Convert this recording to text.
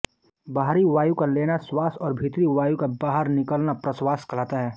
बाहरी वायु का लेना श्वास और भीतरी वायु का बाहर निकालना प्रश्वास कहलाता है